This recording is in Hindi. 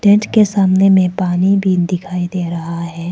टेंट के सामने में पानी भी दिखाई दे रहा है।